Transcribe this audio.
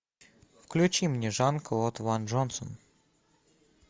включи мне жан клод ван джонсон